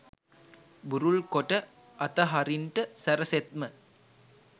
බුරුල් කොට අතහරින්ට සැරසෙත්ම